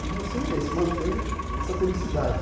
E o meu sonho é esse, manter essa felicidade.